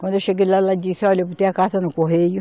Quando eu cheguei lá, ela disse, olhe, eu botei a carta no correio.